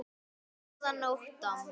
Góðan nótt, amma.